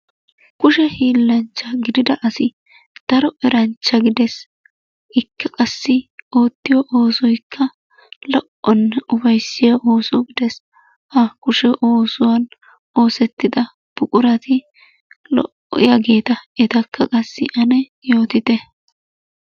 Kushe hiilanchcha gidida asi daro eranchcja gidees. Ikka qassi oottiyo oosoykka lo"onne upayssiya ooso gidees. Ha kushee oosuwa oosetida buqurati lo"iyageeta etakka qassi ane yootite.